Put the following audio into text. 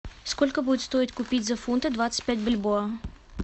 сколько будет стоить купить за фунты двадцать пять бальбоа